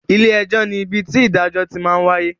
Ilé ẹjọ́ ní ibi tí ìdájọ́ ti ń wáyé